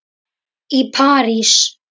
í París.